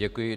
Děkuji.